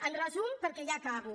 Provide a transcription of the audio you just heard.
en resum perquè ja acabo